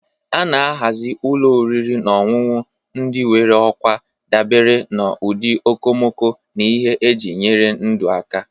A na-ahazi ụlọ oriri na ọṅụṅụ ndị nwere okwa dabere n'ụdị okomoko na ihe eji enyere ndụ aka.